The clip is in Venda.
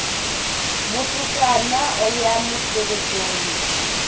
mutukana u a ya musevhethoni